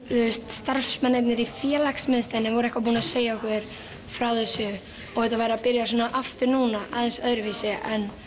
starfsmennirnir í félagsmiðstöðinni voru eitthvað búnir að segja okkur frá þessu að þetta væri að byrja aftur núna aðeins öðruvísi